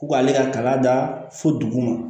Ko k'ale ka kala da fo dugu ma